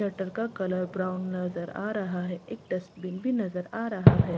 Shutter का colour brown नजर आ रहा है एक डस्ट बीन भी नजर आ रहा है।